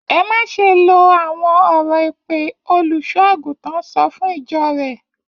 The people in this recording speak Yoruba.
Ẹ má ṣe lo àwọn ọ̀rọ̀ èpè! Olùṣọ́-àgùntàn sọ fún ìjọ rẹ̀.